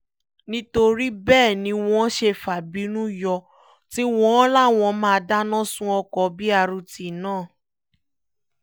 nítorí bẹ́ẹ̀ ni wọ́n ṣe fa ìbínú yọ tí wọ́n láwọn máa dáná sun ọkọ brt náà